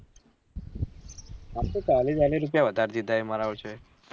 આમ તો ચાલી વાલી રુપયા વધાર દીધા એવું મરાવું છે